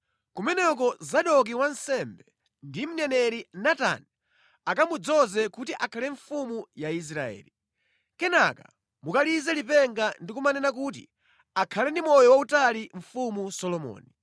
Kumeneko Zadoki wansembe ndi mneneri Natani akamudzoze kuti akhale mfumu ya Israeli. Kenaka mukalize lipenga ndi kumanena kuti ‘Akhale ndi moyo wautali Mfumu Solomoni.’